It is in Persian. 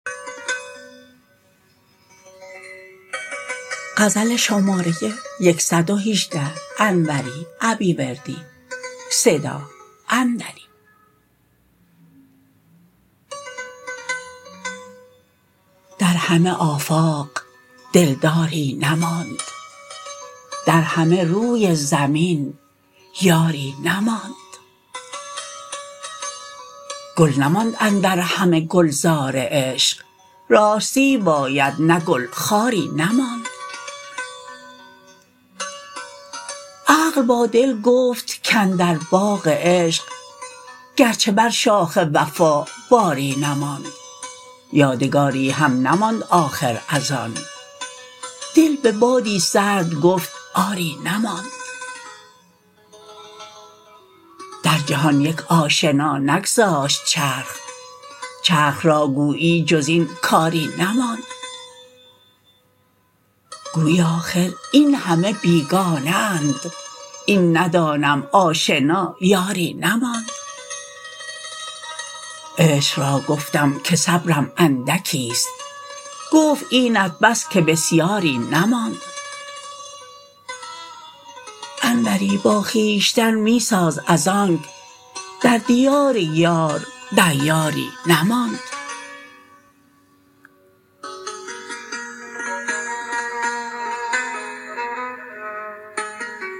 در همه آفاق دلداری نماند در همه روی زمین یاری نماند گل نماند اندر همه گلزار عشق راستی باید نه گل خاری نماند عقل با دل گفت کاندر باغ عشق گرچه بر شاخ وفا باری نماند یادگاری هم نماند آخر از آن دل به بادی سرد گفت آری نماند در جهان یک آشنا نگذاشت چرخ چرخ را گویی جز این کاری نماند گویی آخر این همه بیگانه اند این ندانم آشنا یاری نماند عشق را گفتم که صبرم اندکیست گفت اینت بس که بسیاری نماند انوری با خویشتن می ساز ازآنک در دیار یار دیاری نماند